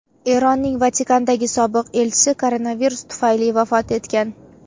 Eronning Vatikandagi sobiq elchisi koronavirus tufayli vafot etgan .